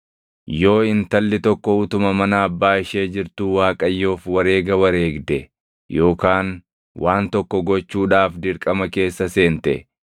“Yoo intalli tokko utuma mana abbaa ishee jirtuu Waaqayyoof wareega wareegde yookaan waan tokko gochuudhaaf dirqama keessa seente,